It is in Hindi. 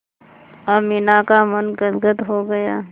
अमीना का मन गदगद हो गया